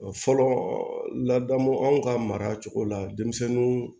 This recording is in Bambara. Fɔlɔ ladamu anw ka mara cogo la denmisɛnninw